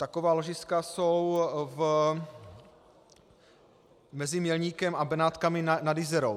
Taková ložiska jsou mezi Mělníkem a Benátkami nad Jizerou.